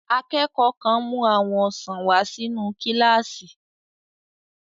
Akẹ́kọ̀ọ́ kan mú àwọn ọsàn wà sínu kílásì